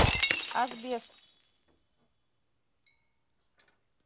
асбест